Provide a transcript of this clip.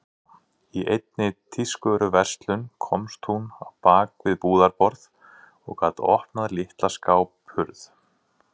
Í einni tískuvöruverslun komst hún á bak við búðarborð og gat opnað litla skáphurð.